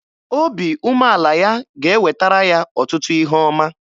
Obi umeala ya ga-ewetara ya ọtụtụ ihe ọma.